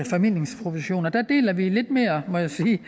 formidlingsprovision der deler vi må jeg sige